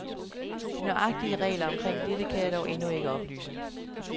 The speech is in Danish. De nøjagtige regler omkring dette kan jeg dog endnu ikke oplyse.